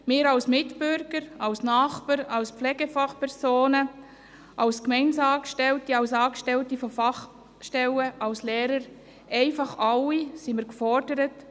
Wir als Mitbürger, als Nachbarn, als Pflegefachpersonen, als Gemeindeangestellte, als Angestellte von Fachstellen, als Lehrer, einfach wir alle, sind gefordert.